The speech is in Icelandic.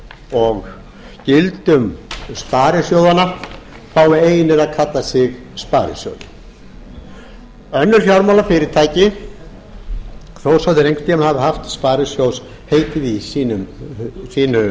og gildum sparisjóðanna fái einir að kalla sig sparisjóði önnur fjármálafyrirtæki þó svo að þau hafi einhvern tíma haft sparisjóðsheitið í sínu